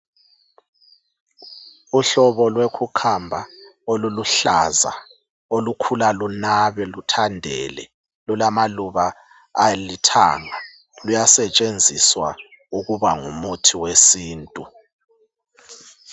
Uhlobo lwe khukhamba oluluhlaza, olukhula lunabe luthandele lulamaluba alithanga luyasetshenziswa ukuba ngumuthi wesintu.